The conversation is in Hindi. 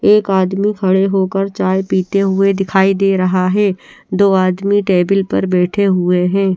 एक आदमी खड़े होकर चाय पिते हुए दिखाई दे रहा है दो आदमी टेबल पर बेठे हुए है।